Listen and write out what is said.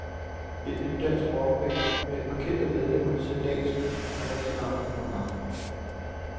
Et nyt dansk rockband med et par kendte medlemmer ser dagens lys for første gang i morgen aften.